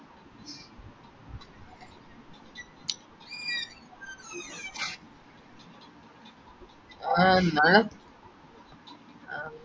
ആഹ് എന്നാലും